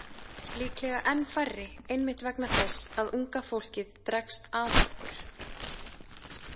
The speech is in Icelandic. Líklega enn færri einmitt vegna þess að unga fólkið dregst að okkur.